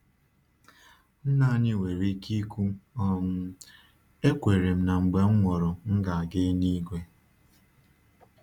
Nna anyị nwere ike um ikwu, “Ekwere m na mgbe m nwụrụ, m ga-aga elu-igwe.”